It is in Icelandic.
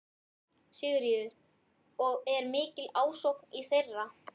Sigríður: Og er mikil ásókn í þetta?